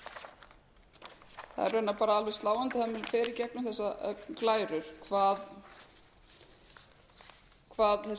það er raunar bara alveg sláandi þegar maður fer í gegnum þessar glærur hvað þessi